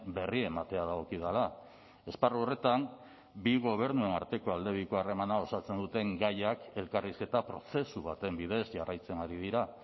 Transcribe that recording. berri ematea dagokidala esparru horretan bi gobernuen arteko aldebiko harremana osatzen duten gaiak elkarrizketa prozesu baten bidez jarraitzen ari dira